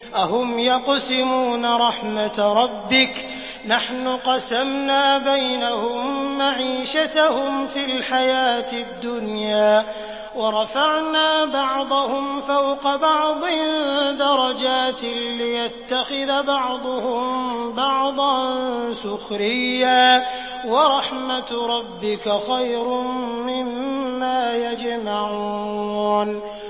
أَهُمْ يَقْسِمُونَ رَحْمَتَ رَبِّكَ ۚ نَحْنُ قَسَمْنَا بَيْنَهُم مَّعِيشَتَهُمْ فِي الْحَيَاةِ الدُّنْيَا ۚ وَرَفَعْنَا بَعْضَهُمْ فَوْقَ بَعْضٍ دَرَجَاتٍ لِّيَتَّخِذَ بَعْضُهُم بَعْضًا سُخْرِيًّا ۗ وَرَحْمَتُ رَبِّكَ خَيْرٌ مِّمَّا يَجْمَعُونَ